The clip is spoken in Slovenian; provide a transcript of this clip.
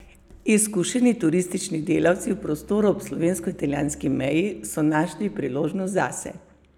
Izkušeni turistični delavci v prostoru ob slovensko italijanski meji so našli priložnost zase.